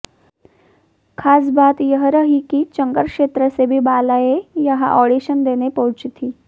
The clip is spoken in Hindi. खास बात यह रही कि चंगर क्षेत्र से भी बालाएं यहां आडिशन देने पहुंची थीं